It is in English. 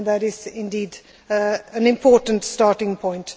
That is indeed an important starting point.